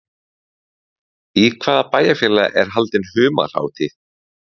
Í hvaða bæjarfélagi er haldin humarhátíð?